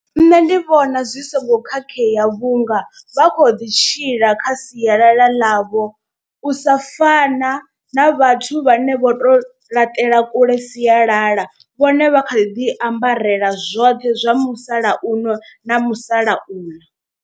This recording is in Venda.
Nṋe ndi vhona zwi songo khakhea vhunga vha kho ḓi tshila kha sialala ḽavho. U sa fana na vhathu vhane vho to laṱela kule sialala vhone vha kha ḓi ambarela zwoṱhe zwa musalauno na musalauḽa.